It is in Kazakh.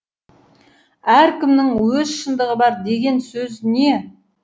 әркімнің өз шындығы бар деген сөз не